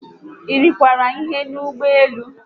Irikwara ihe n'ụgbọelu?